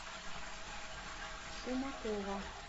шумакова